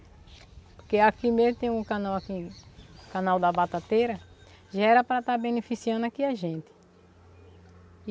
Porque aqui mesmo tem um canal aqui, canal da Batateira, já era para estar beneficiando aqui a gente.